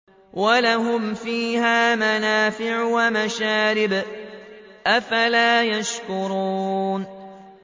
وَلَهُمْ فِيهَا مَنَافِعُ وَمَشَارِبُ ۖ أَفَلَا يَشْكُرُونَ